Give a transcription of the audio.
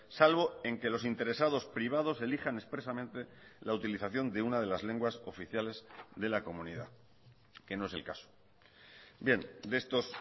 salvo en que los interesados privados elijan expresamente la utilización de unade las lenguas oficiales de la comunidad que no es el caso bien de estos